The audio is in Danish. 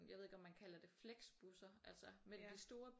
Jeg ved ikke om man kalder det flexbusser altså mellem de store